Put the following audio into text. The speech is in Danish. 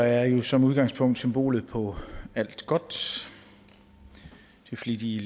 er jo som udgangspunkt symbolet på alt godt de flittige